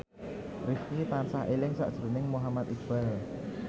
Rifqi tansah eling sakjroning Muhammad Iqbal